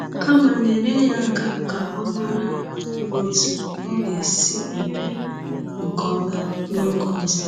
Kama, nyere ya aka ka ọ mara otú ọ ga-esi eme nke ọma n’oge ọzọ.